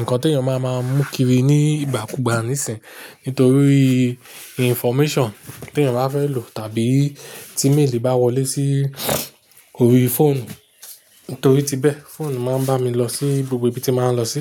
ǹkan tí èèyàn máa ń mú kiri ní ìgbà kú gbà nísìń, nítorí information tí èèyàn bá fẹ́ lò tàbí tí méèlì bá wọlé sí orí fóònù, nítorí ti bẹ́ẹ̀, fóònù máa ń bá mi lọ sí gbogbo ibi tí màá ń lọ sí.